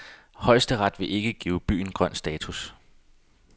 Højesteret vil ikke give byen grøn status.